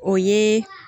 O ye